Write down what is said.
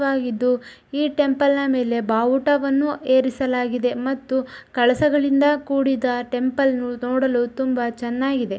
ವಾಗಿದ್ದು. ಈ ಟೆಂಪಲ್ ನ ಮೇಲೆ ಬಾವುಟವನ್ನು ಏರಿಸಲಾಗಿದೆ ಮತ್ತು ಕಳಸಗಳಿಂದ ಕೂಡಿದ ಟೆಂಪಲ್ ನೋಡಲು ತುಂಬಾ ಚೆನ್ನಾಗಿದೆ.